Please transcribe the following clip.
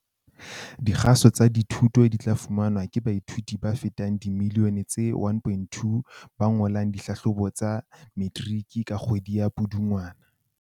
Dikgaso tsa dithuto di tla fumanwa ke baithuti ba fetang dimiliyone tse 1.2 ba ngolang dihlahlobo tsa Metiriki ka kgwedi ya Pudungwana.